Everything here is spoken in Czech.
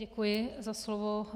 Děkuji za slovo.